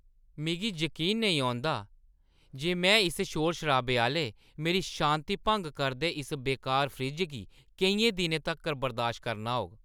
मिगी जकीन निं औंदा जे में इस शोर-शराबे आह्‌ले, मेरी शांति भंग करदे इस बेकार फ्रिज्ज गी केइयें दिनें तक्कर बर्दाश्त करना होग!